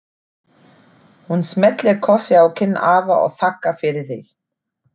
Hún smellir kossi á kinn afa og þakkar fyrir sig.